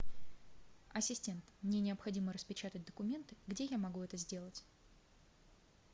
ассистент мне необходимо распечатать документы где я могу это сделать